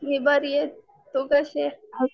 मी बरी आहे तू कशी आहेस?